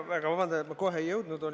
Palun vabandust, et ma kohe ei jõudnud!